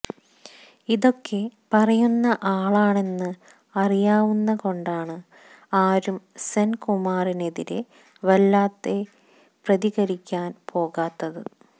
ഇതൊക്കെ പറയുന്ന ആളാണെന്ന് അറിയാവുന്ന കൊണ്ടാണ് ആരും സെന്കുമാറിനെതിരെ വല്ലാതെ പ്രതികരിക്കാന് പോകാത്തത്